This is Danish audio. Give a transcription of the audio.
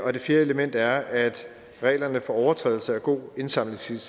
det fjerde element er at reglerne for overtrædelse af god indsamlingsskik